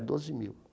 Doze mil.